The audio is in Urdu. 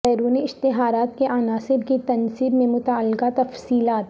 بیرونی اشتہارات کے عناصر کی تنصیب میں متعلقہ تفصیلات